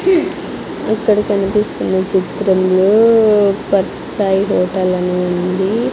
ఇక్కడ కనిపిస్తున్న చిత్రంలో సాయి హోటల్ అని ఉంది.